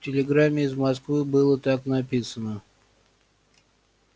в телеграмме из москвы было так написано